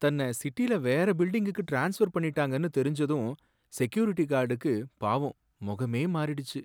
தன்னை சிட்டில வேற பில்டிங்குக்கு டிரான்ஸ்ஃபர் பண்ணிட்டாங்கன்னு தெரிஞ்சதும் செக்யூரிட்டி கார்டுக்கு பாவம் முகமே மாறிடுச்சு.